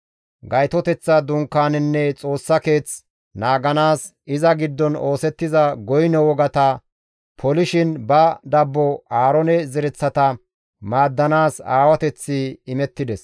Gaytoteththa Dunkaanenne Xoossa Keeth naaganaas, iza giddon oosettiza goyno wogata polishin ba dabbo Aaroone zereththata maaddanaas aawateththi imettides.